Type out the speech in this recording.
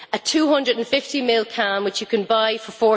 A 250 ml can, which you can buy for EUR